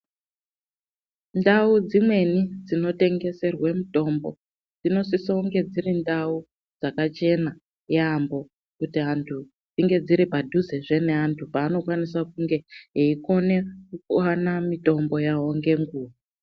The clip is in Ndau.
Ndau dzimweni dzinotengeserwe mitombo dzinosisa kunge dziri ndau dzakachena yamho kuti antu, kuti antu dzinge dziri padhuzezve neantu kuti antu akone kuone mitombo yavo nguwa ngenguwa.